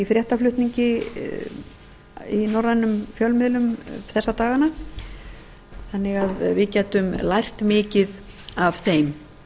fréttaflutningi í norrænum fjölmiðlum þessa dagana þannig að við gætum lært mikið af þeim